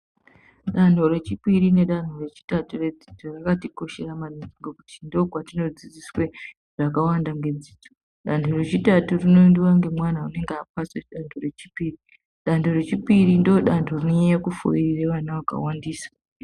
Dano rechipiri nedano rechitatu redzidzo rakatikoshera maningi ngekuti ndokwatinodzidziswe zvakawanda ngedzidzo. Dano rechitatu rinoyendiwa ngemwana anenge apasa dano rechipiri . Dando rechipi ndando rinonyayo kufeyirira vana vakawandisa.